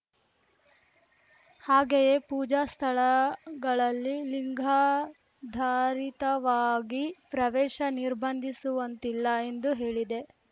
ಹಾಗೆಯೇ ಪೂಜಾ ಸ್ಥಳಗಳಲ್ಲಿ ಲಿಂಗಾಧಾರಿತವಾಗಿ ಪ್ರವೇಶ ನಿರ್ಬಂಧಿಸುವಂತಿಲ್ಲ ಎಂದೂ ಹೇಳಿದೆ